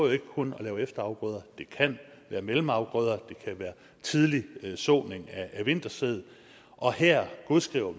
jo ikke kun at lave efterafgrøder det kan være mellemafgrøder det kan være tidlig såning af vintersæd og her godskriver